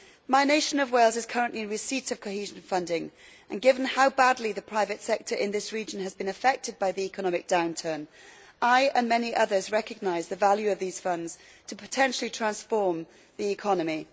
My nation of Wales is currently in receipt of cohesion funding, and given how badly the private sector in this region has been affected by the economic downturn, I and many others recognise the value of these funds to potentially transform the economy.